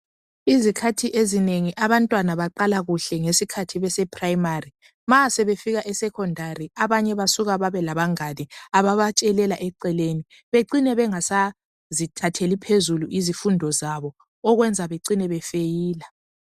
Izikhathi ezinengi abantwana baqala kuhle ngesikhathi beseprimary. Ma sebefika esecondary abanye bafika bebelabangane ababatshelela eceleni becine bengasazithatheli phezulu izifundo zabo okwenza becine befeyila.